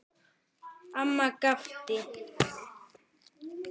Amma gapti.